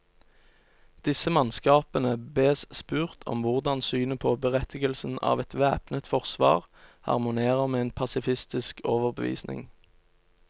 Disse mannskapene bes spurt om hvordan synet på berettigelsen av et væpnet forsvar harmonerer med en pasifistisk overbevisning.